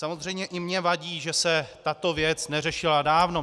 Samozřejmě i mně vadí, že se tato věc neřešila dávno.